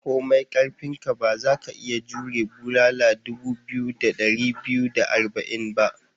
Komai karfinka, ba za ka iya jmure bulala dubu biyu da dari biyu da arba'in ba.